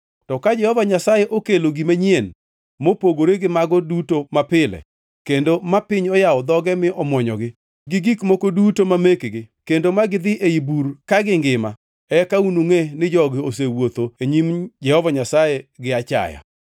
To ka Jehova Nyasaye okelo gima nyien mopogore gi mago duto mapile, kendo ma piny oyawo dhoge mi omwonyogi, gi gik moko duto ma mekgi, kendo ma gidhi ei bur ka gingima, eka unungʼe ni jogi osewuotho e nyim Jehova Nyasaye gi achaya.”